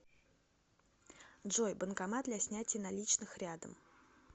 джой банкомат для снятия наличных рядом